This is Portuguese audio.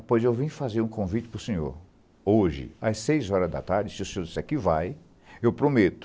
pois eu vim fazer um convite para o senhor, hoje, às seis horas da tarde, se o senhor disser que vai, eu prometo,